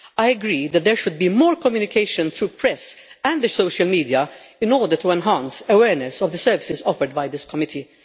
I agree that there should be more communication through the press and social media in order to enhance awareness of the services offered by this committee.